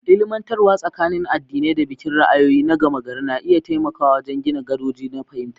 Ilmantarwa tsakanin addinai da bikin ra'ayoyi na gama gari na iya taimakawa wajen gina gadoji na fahimta.